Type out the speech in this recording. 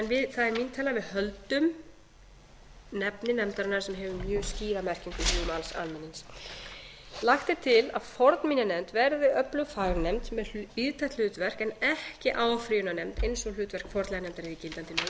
tillaga að við höldum nafni nefndarinnar sem hefur mjög skýra merkingu í hugum almennings tíu lagt er til að fornminjanefnd verði öflug fagnefnd með víðtækt hlutverk en ekki áfrýjunarnefnd eins og hlutverk fornleifanefndar er í gildandi lögum ellefu